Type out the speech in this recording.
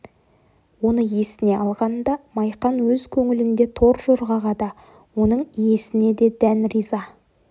оны есіне алғанда майқан өз көңілінде торжорғаға да оның иесіне де дән ырза